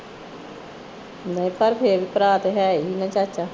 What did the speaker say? ਨਹੀ ਪਰ ਫਿਰ ਭਰਾ ਤੇ ਹੈ ਈ ਆ ਚਾਚਾ